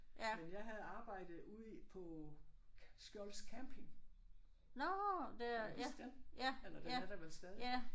Men jeg havde arbejde ude i på Skjolds Camping. Kan du huske den? Eller den er der vel stadig?